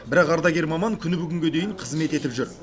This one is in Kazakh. бірақ ардагер маман күні бүгінге дейін қызмет етіп жүр